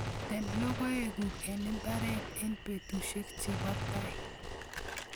Tem logoek guk eng' ibaret eng' petushek chebo tai